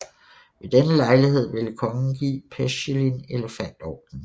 Ved denne lejlighed ville kongen give Pechlin Elefantordenen